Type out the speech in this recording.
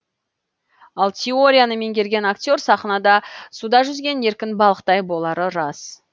ал теорияны меңгерген актер сахнада суда жүзген еркін балықтай болары рас